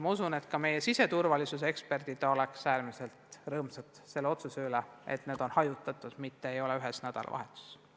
Ma usun, et ka meie siseturvalisuse eksperdid on äärmiselt rõõmsad otsuse üle, et need peod on hajutatud, mitte ei toimu ühel nädalavahetusel.